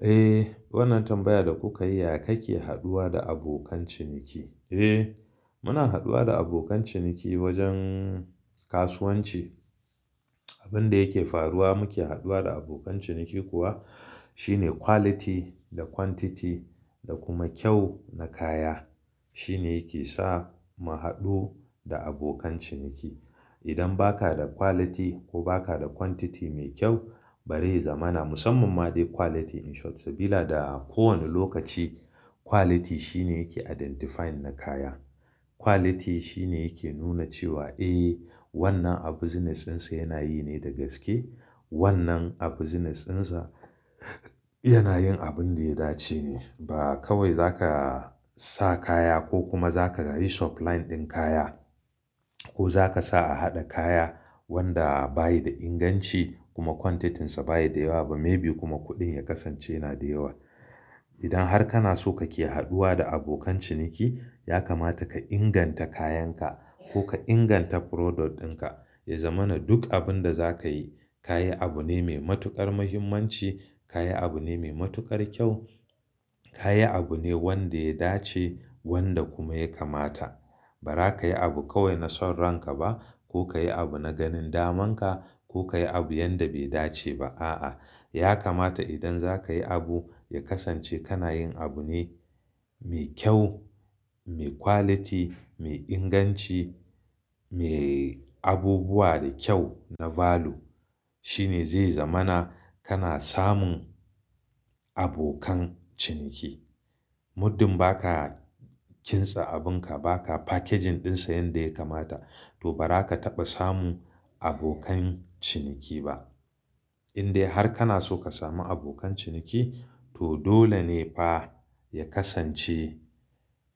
Eh, wannan tambayar da kuka yi, ya kake haduwa da abokan ciniki? Eh, muna haduwa da abokan ciniki wajen kasuwanci. Abin da yake faruwa muke haduwa da abokan ciniki kuwa shine quality da quantity da kuma kyau na kaya shine yake sa mu haɗu da abokan ciniki. Idan ba ka da quality ko ba ka da quantity mai kyau bari zama na musamman ma dai quality in short sabida a kowane lokaci quality shine yake identifying na kaya. Quality shine yake nuna cewa eh wannan abu business dinsa yana yi ne da gaske. Wannan a business dinsa yana yin abin da ya dace ne. Ba kawai za ka sa kaya ko kuma za ka yi supply ɗin kaya ko za ka sa a haɗa kaya wanda ba yi da inganci kuma quantity sa ba yi da yawa ba maybe kuma kuɗin ya kasance na da yawa. Idan har kana so ka ke haduwa da abokan ciniki ya kamata ka inganta kayanka ko ka inganta product ɗinka. Ya zama na duk abin da za ka yi, ka yi abu ne mai matuƙar muhimmanci, ka yi abu ne mai matuƙar kyau, ka yi abu ne wanda ya dace wanda kuma ya kamata. Ba ra ka yi abu kawai na son ranka ba ko ka yi abu na ganin damanka ko ka yi abu yanda bai dace ba. A'a, ya kamata idan za ka yi abu ya kasance kana yin abu ne mai kyau, mai quality, mai inganci, mai abubuwa da kyau na value shine zai zamana kana samun abokan ciniki. Muddin ba ka kintsa abunka, ba ka packaging ɗinsa yanda ya kamata to ba za ka taɓa samun abokan ciniki ba. Indai har kana so ka samu abokan ciniki to dole ne fa ya kasance,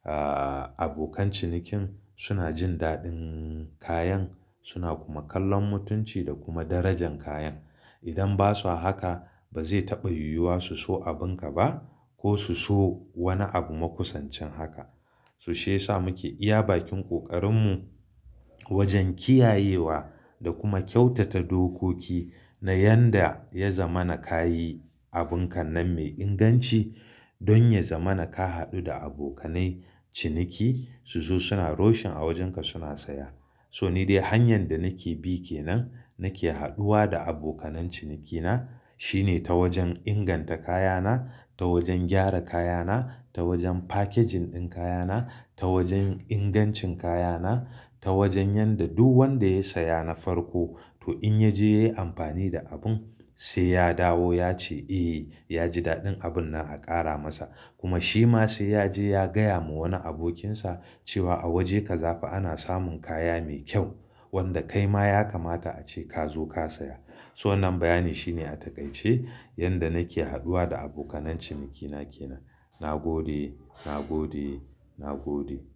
ah, abokan cinikin suna jin daɗin kayan suna kuma kallon mutunci da kuma darajan kayan. Idan ba su a haka ba zai taɓa yiwuwa su so abunka ba ko su so wani abu makusancin haka. So shi ya sa muke iya bakin ƙoƙarinmu wajen kiyayewa da kuma kyautata dokoki na yanda ya zamana ka yi abunka nan mai inganci don ya zamana ka haɗu da abokanai ciniki su zo suna roshin a wajenka suna saya. So ni dai hanyar da nake bi ke nan nake haduwa da abokanai cinikina shine ta wajen inganta kayana, ta wajen gyara kayana, ta wajen packaging ɗin kayana, ta wajen ingancin kayana, ta wajen yanda duk wanda ya saya na farko to in ya je ya yi amfani da abun sai ya dawo ya ce eh, ya ji daɗin abun nan a ƙara masa kuma shi ma sai ya je ya gaya ma wani abokinsa cewa a waje ka za fa ana samun kaya mai kyau wanda kai ma ya kamata ace ka zo ka saya. So nan bayani shine a taƙaice yanda nake haduwa da abokanai cinikina ke nan. Na gode, na gode, na gode.